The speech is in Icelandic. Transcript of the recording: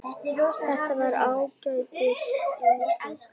Þetta var ágætis eintak